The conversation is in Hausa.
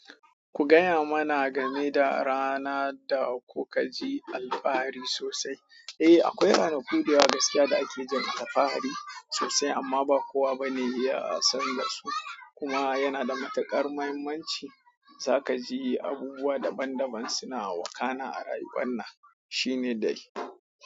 Ku gaya mana game da rana da kuka ji alfahari sosai. Eh, akwai ranaku da yawa gaskiya da ake jin alfahari sosai amma ba kowa ba ne ya san da su. Kuma yana da matuƙar muhimmanci. Zaka ji abubuwa daban daban suna wakana a rayuwar nan. Shine dai.